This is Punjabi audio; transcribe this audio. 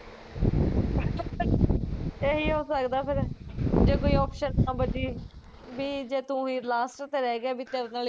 ਏਹੀ ਹੋ ਸਕਦਾ ਫਿਰ ਜੇ ਕੋਈ option ਨਾ ਬਚੀ ਵੀ ਜੇ ਤੂੰ ਹੀ last ਤੇ ਰਹਿ ਗਿਆ ਵੀ ਤੇਰੇ ਨਾਲ਼ ਈ ਕਰਾਉਣਾ